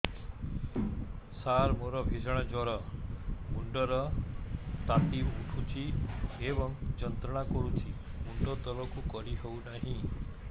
ସାର ମୋର ଭୀଷଣ ଜ୍ଵର ମୁଣ୍ଡ ର ତାତି ଉଠୁଛି ଏବଂ ଯନ୍ତ୍ରଣା କରୁଛି ମୁଣ୍ଡ ତଳକୁ କରି ହେଉନାହିଁ